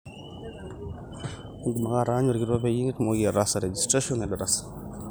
idim ake aataanyu olkitok peyie itumoki ataasa registration edarasa